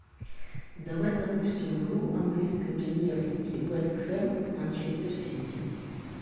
давай запустим игру английской премьер лиги вест хэм манчестер сити